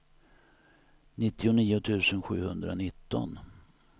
nittionio tusen sjuhundranitton